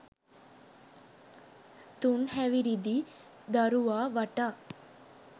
තුන් හැවිරිදි දරුවා වටා